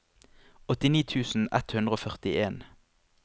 åttini tusen ett hundre og førtien